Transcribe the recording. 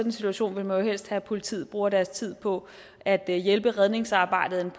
en situation vil man jo helst have at politiet bruger deres tid på at hjælpe med redningsarbejdet